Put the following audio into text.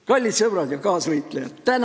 Kallid sõbrad ja kaasvõitlejad!